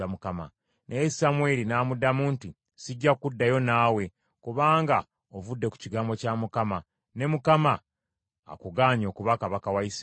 Naye Samwiri n’amuddamu nti, “Sijja kuddayo naawe kubanga ovudde ku kigambo kya Mukama , ne Mukama akugaanye okuba kabaka wa Isirayiri.”